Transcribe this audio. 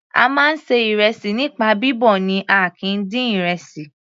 A máa ń ṣe ìrẹsì nípa bíbọ̀ ni a kìí dín ìrẹsì.